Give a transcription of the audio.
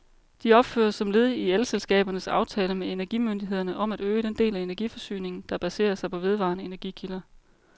De opføres som led i elselskabernes aftale med energimyndighederne om at øge den del af energiforsyningen, der baserer sig på vedvarende energikilder.